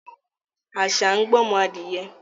Àṣà ń gbọ́mọ adìẹ